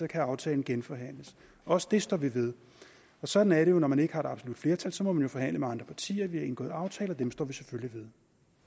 kan aftalen genforhandles også det står vi ved sådan er det jo når man ikke har absolut flertal så må man forhandle med andre partier vi har indgået aftaler og dem står vi selvfølgelig ved